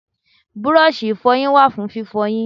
Bírọ́ọ̀ṣì ìfọyín wà fún fífọyín.